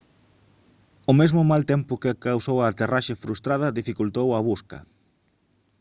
o mesmo mal tempo que causou a aterraxe frustrada dificultou a busca